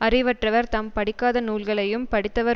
அறிவற்றவர் தாம் படிக்காத நூல்களையும் படித்தவர்